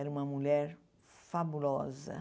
Era uma mulher fabulosa.